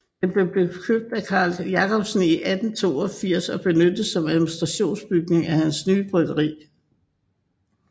Den blev købt af Carl Jacobsen i 1882 og benyttet som administrationsbygning af hans nye bryggeri